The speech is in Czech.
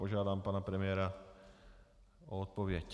Požádám pana premiéra o odpověď.